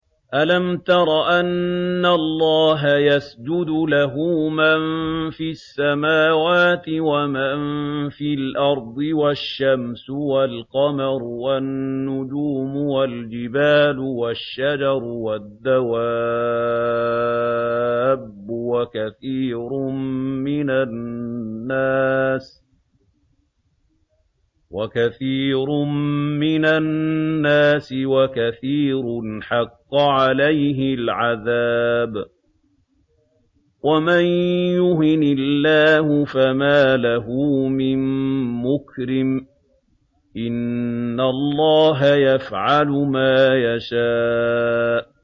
أَلَمْ تَرَ أَنَّ اللَّهَ يَسْجُدُ لَهُ مَن فِي السَّمَاوَاتِ وَمَن فِي الْأَرْضِ وَالشَّمْسُ وَالْقَمَرُ وَالنُّجُومُ وَالْجِبَالُ وَالشَّجَرُ وَالدَّوَابُّ وَكَثِيرٌ مِّنَ النَّاسِ ۖ وَكَثِيرٌ حَقَّ عَلَيْهِ الْعَذَابُ ۗ وَمَن يُهِنِ اللَّهُ فَمَا لَهُ مِن مُّكْرِمٍ ۚ إِنَّ اللَّهَ يَفْعَلُ مَا يَشَاءُ ۩